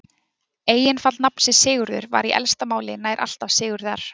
Eignarfall nafnsins Sigurður var í elsta máli nær alltaf Sigurðar.